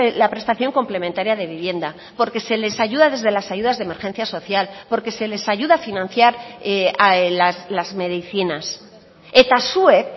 la prestación complementaria de vivienda porque se les ayuda desde las ayudas de emergencia social porque se les ayuda a financiar las medicinas eta zuek